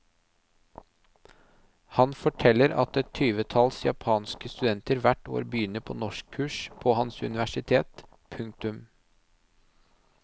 Han forteller at et tyvetalls japanske studenter hvert år begynner på norskkurs på hans universitet. punktum